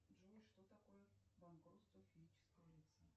джой что такое банкротство физического лица